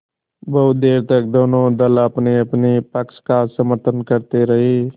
बहुत देर तक दोनों दल अपनेअपने पक्ष का समर्थन करते रहे